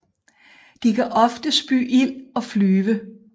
De kan ofte spy ild og flyve